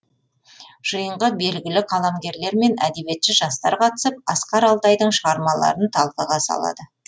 жиынға белгілі қаламгерлер мен әдебиетші жастар қатысып асқар алтайдың шығармаларын талқыға салады